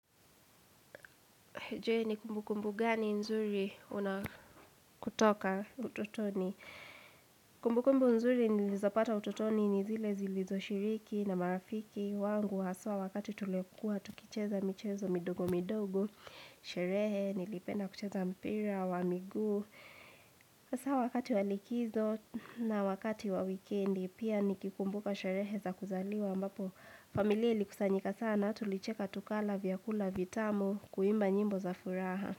Jee ni kumbukumbu gani nzuri una kutoka ututoni. Kumbukumbu nzuri nilizopata ututoni ni zile zilizoshiriki na marafiki. Wangu haswa wakati tuliokuwa, tukicheza michezo midogo midogo. Sherehe, nilipenda kucheza mpira wa miguu. Hasaa wakati wa likizo na wakati wa wikendi, pia nikikumbuka sherehe za kuzaliwa ambapo. Familia ilikusanyika sana, tulicheka tukala vyakula vitamu kuimba nyimbo za furaha.